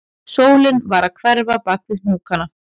Sólin var að hverfa bak við hnúkana